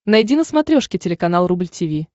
найди на смотрешке телеканал рубль ти ви